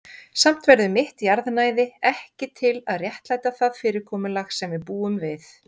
Samt verður mitt jarðnæði ekki til að réttlæta það fyrirkomulag sem við búum við.